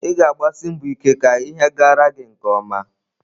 Ị ga-agbasi mbọ ike ka ihe gara gi nke ọma.